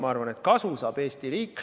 Ma arvan, et kasu saab Eesti riik.